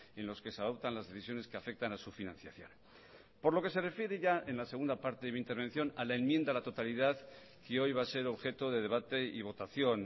en los que se adoptan las decisiones que afectan a su financiación por lo que se refiere ya en la segunda parte de mi intervención a la enmienda a la totalidad que hoy va a ser objeto de debate y votación